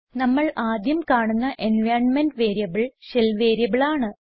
നമ്മൾ ആദ്യം കാണുന്ന എൻവൈറൻമെന്റ് വേരിയബിൾ ഷെൽ വേരിയബിളാണ്